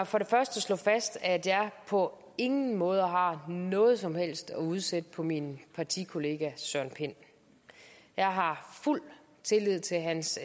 for det første slå fast at jeg på ingen måde har noget som helst at udsætte på min partikollega søren pind jeg har fuld tillid til hans